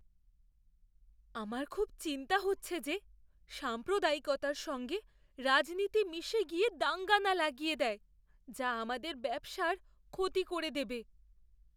আমার খুব চিন্তা হচ্ছে যে সাম্প্রদায়িকতার সঙ্গে রাজনীতি মিশে গিয়ে দাঙ্গা না লাগিয়ে দেয় যা আমাদের ব্যবসার ক্ষতি করে দেবে!